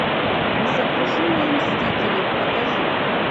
несокрушимые мстители покажи